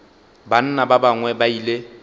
banna ba bangwe ba ile